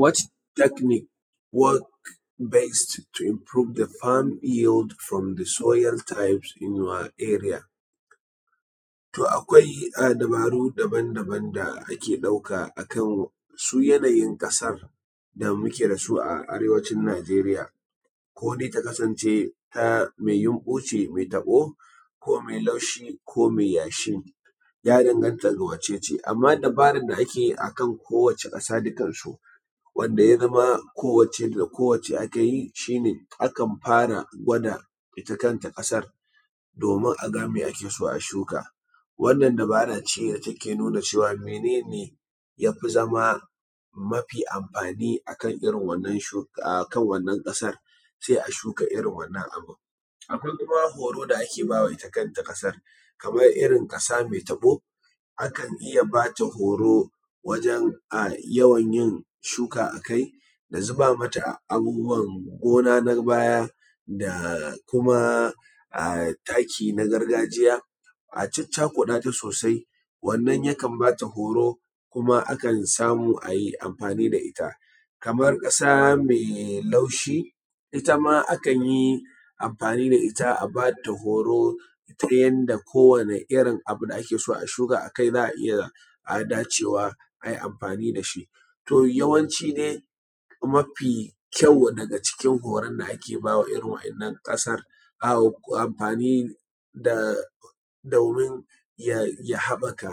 What technic work best to improve the farm use from the soil types in your area? To akwai dabaru daban daban da ake ɗauka a kan su yanayin ƙasar da muke da su a arewacin Najeriya, ko dai takasance mai yamɓu ce mai taɓo, ko mai laushi, ko mai yashi. Ya danganta ga wacece, amma dabaran da ake akan kowace ƙasa dukan su wanda ya zama kowace da kowace aka yi, shi ne akan fara gwada ita kanta ƙasar domin a ga mai ake so a shuka. Wannan dabara ce da take nuna cewa mene ne ya fi zama mafi amfani akan irin wannan ƙasar, sai a shuka irin wannan abu. Akwai kuma horo da ake bawa ita kanta ƙasar kamar irin ƙasa mai taɓo, akan iya ba ta horo wajan yawan yin shuka akai, da zuba mata abubuwa gona na baya, da kuma taki na gargajiya a caccakuɗa ta sosai, wannan yakan ba ta horo kuma akan samu a yi amfani da ita. Kamar ƙasa mai laushi ita ma akan yi amfani da ita a ba ta horo ta yanda kowane irin abu ake so a shuka akai za a iya dacewa ai amfani da shi. To yawanci dai mafi kyau daga cikin horon da ake baiwa irin wannan ƙasar, amfani domin ya haɓɓaka